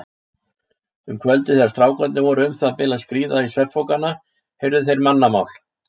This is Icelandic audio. Um kvöldið þegar strákarnir voru um það bil að skríða í svefnpokana heyrðu þeir mannamál.